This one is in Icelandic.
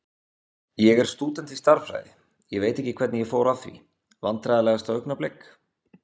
Ég er stúdent í stærðfræði, ég veit ekkert hvernig ég fór að því Vandræðalegasta augnablik?